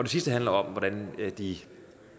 sidste handler om hvordan de